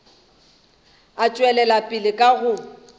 a tšwela pele ka go